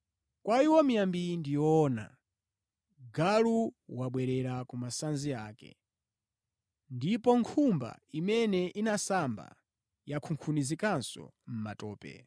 Kwa iwo miyambi iyi ndi yoona, “Galu wabwerera ku masanzi ake,” ndipo, “Nkhumba imene inasamba, yakunkhunizikanso mʼmatope.”